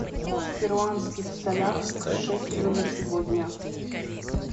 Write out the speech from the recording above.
курс в перуанских солях к шекелю на сегодня